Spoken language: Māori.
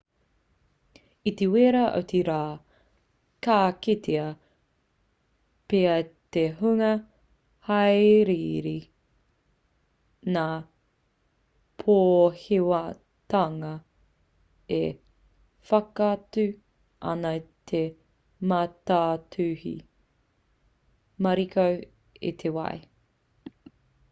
i te wera o te rā ka kitea pea e te hunga hāereere ngā pōhewatanga e whakaatu ana i te mātātuhi mariko o te wai o ētahi atu mea rānei